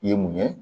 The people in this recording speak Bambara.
I ye mun ye